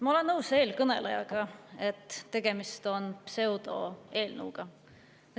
Ma olen nõus eelkõnelejaga – tegemist on pseudoeelnõuga.